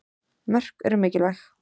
Mörk sem eru mikilvæg.